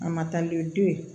A ma taa ni den ye